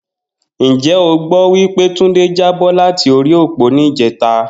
Njé o gbó wí pé Túndé jábó láti orí òpó ní ìjéta?